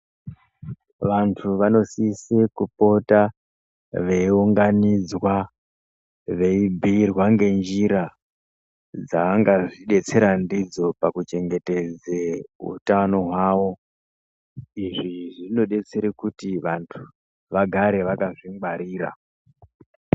Vantu vanosise kupota veiunganidzwa veibhuyirwa ngenjira dzaangazvidetsera ndidzo pakuchengetedze utano hwavo izvi zvinodetsere kuti vanhu vagare vakazvingwarira.